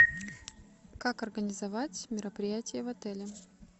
как организовать мероприятие в отеле